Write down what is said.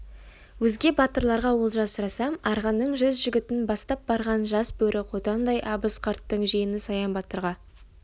өзге батырларға олжа сұрасам арғынның жүз жігітін бастап барған жас бөрі қотандай абыз қарттың жиені саян батырға